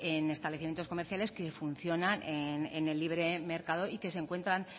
en establecimientos comerciales que funcionan en el libre mercado y que se encuentran